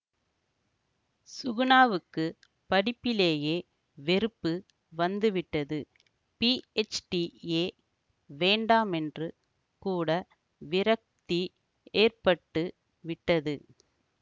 சுகுணாவுக்குப் படிப்பிலேயே வெறுப்பு வந்துவிட்டது பிஎச்டியே வேண்டாமென்று கூட விரக்தி ஏற்பட்டுவிட்டது